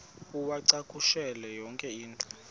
uwacakushele yonke into